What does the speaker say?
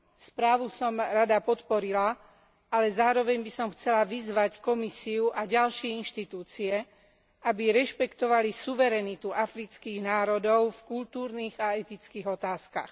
Správu som rada podporila, ale zároveň by som chcela vyzvať Komisiu a ďalšie inštitúcie, aby rešpektovali suverenitu afrických národov v kultúrnych a etických otázkach.